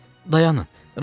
Dayanın, razıyam.